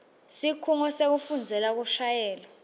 sikhungo sekufundzela kushayela